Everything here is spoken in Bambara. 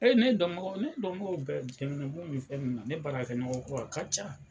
Ee ne dɔn baga, ne dɔn bagaw bɛ jamanabɔn ni fɛn min na, ne baara ɲɔgɔn kɛmɔgɔ a ka ca.